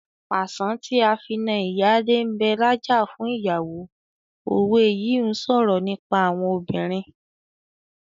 "Pàṣán tí a fi na ìyálé ń bẹ lájà fún ìyàwó " òwe yìí ń sọ̀rọ̀ nípa àwọn obìnrin.